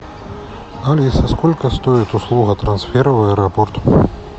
алиса сколько стоит услуга трансфера в аэропорт